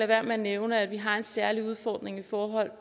være med at nævne at vi har en særlig udfordring i forhold